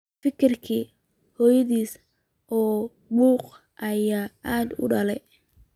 Fikirka hooyadiis oo buka ayaa aad u daalan